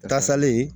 Kasalen